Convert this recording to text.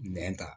Nɛn ta